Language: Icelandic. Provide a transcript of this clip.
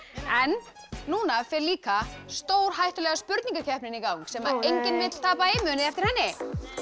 en núna fer líka stórhættulega spurningakeppnin í gang sem enginn vill tapa í munið þið eftir henni